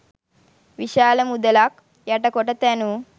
විශාල මුදලක් යට කොට තැනූ